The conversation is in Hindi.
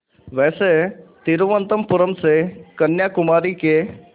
वैसे तिरुवनंतपुरम से कन्याकुमारी के